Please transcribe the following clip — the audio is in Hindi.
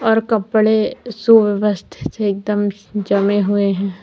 और कपड़े सुव्यवस्थित एकदम जमे हुए हैं।